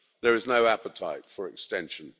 There is no appetite for extension.